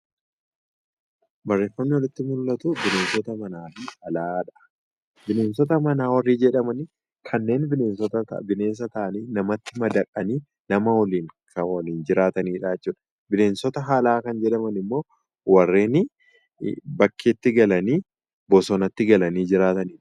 Barreeffamni olitti mul'atu bineensota manaa fi alaadha. Bineensota manaa warri jedhaman kanneen bineensa ta'anii, namatti madaqanii, nama waliin jiraataniidha jechuudha. Bineensota alaa kan jedhaman immoo warreen bakkeetti galanii bosonatti galanii jiraataniidha.